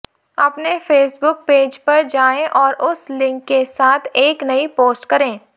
अपने Facebook page पर जाएं और उस लिंक के साथ एक नई पोस्ट करें